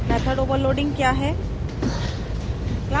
method overloading क्या है